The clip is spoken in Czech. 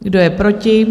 Kdo je proti?